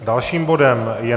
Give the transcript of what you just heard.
Dalším bodem je